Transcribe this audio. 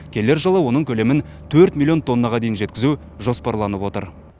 келер жылы оның көлемін төрт миллион тоннаға дейін жеткізу жоспарланып отыр